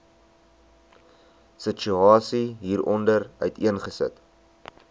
situasie hieronder uiteengesit